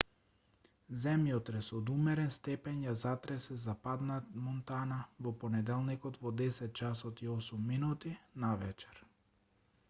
земјотрес од умерен степен ја затресе западна монтана во понеделникот во 10:08 часот навечер